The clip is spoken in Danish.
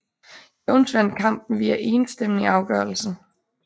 Jones vandt kampen via enstemmig afgørelse